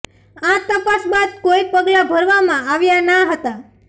આ તપાસ બાદ કોઇ પગલાં ભરવામા આવ્યા ના હતા